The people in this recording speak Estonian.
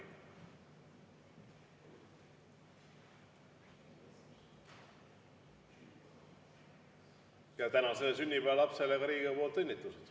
Ja tänasele sünnipäevalapsele ka Riigikogu nimel õnnitlused.